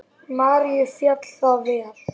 Maríu féll það vel.